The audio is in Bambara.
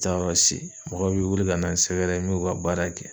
N te taa yɔrɔ si. Mɔgɔw bi wili ka na n sɛgɛrɛ n b'u ka baara kɛ.